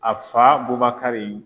A fa Bubakari